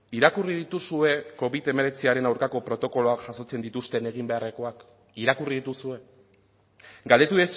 irakurri dituzue covid hemeretziaren aurkako protokoloak jasotzen dituzten egin beharrekoak irakurri dituzue galdetu